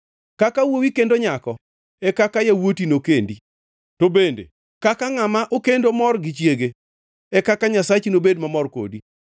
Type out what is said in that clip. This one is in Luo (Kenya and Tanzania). Kaka wuowi kendo nyako e kaka yawuoti nokendi; to bende kaka ngʼama okendo mor gi chiege, e kaka Nyasachi nobed mamor kodi.